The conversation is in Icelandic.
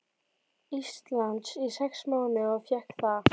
Íslands í sex mánuði og fékk það.